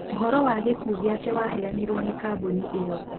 ũhoro wa gĩkuũgĩake waheanirwo nĩ kambuni ĩo.